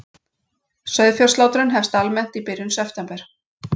Sauðfjárslátrun hefst almennt í byrjun september